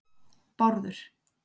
Bárður